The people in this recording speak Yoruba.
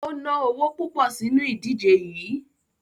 O ná owo púpọ̀ sínu ìdíje yií.